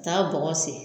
Ka taa bɔgɔ sen